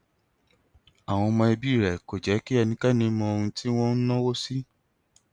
àwọn ọmọ ẹbí rẹ kò jẹ kí ẹnikẹni mọ ohun tí wọn ń náwó sí